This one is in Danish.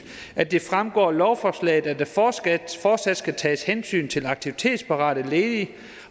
at det fremgår af lovforslaget at der fortsat fortsat skal tages hensyn til aktivitetsparate ledige